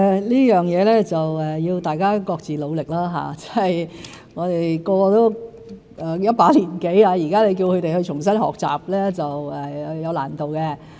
這方面需要大家各自努力，我們各人也一把年紀，若現在要重新學習是有難度。